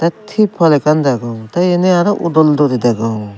thippol ekkan degong tey iyani aro udol duri degong.